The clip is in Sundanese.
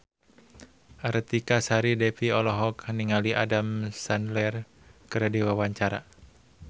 Artika Sari Devi olohok ningali Adam Sandler keur diwawancara